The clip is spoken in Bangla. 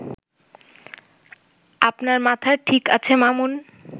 আপনার মাথার ঠিক আছে মামুন